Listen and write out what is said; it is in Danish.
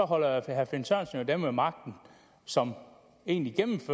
holder herre finn sørensen jo dem ved magten som egentlig